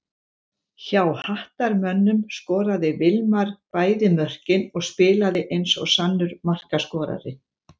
Hjá Hattarmönnum skoraði Vilmar bæði mörkin og spilaði eins og sannur markaskorari.